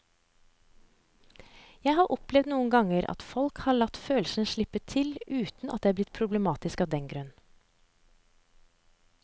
Jeg har opplevd noen ganger at folk har latt følelsene slippe til uten at det er blitt problematisk av den grunn.